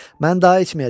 Mən daha içməyəcəm.